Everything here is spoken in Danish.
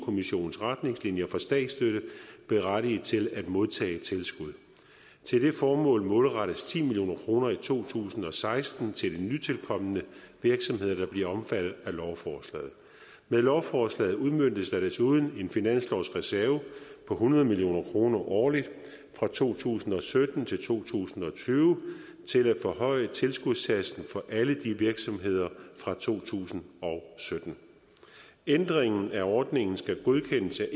kommissionens retningslinjer for statsstøtte berettiget til at modtage tilskud til det formål målrettes ti million kroner i to tusind og seksten til nytilkomne virksomheder der bliver omfattet af lovforslaget med lovforslaget udmøntes der desuden en finanslovsreserve på hundrede million kroner årligt fra to tusind og sytten til to tusind og tyve til at forhøje tilskudssatsen for alle de virksomheder fra to tusind og sytten ændringen af ordningen skal godkendes af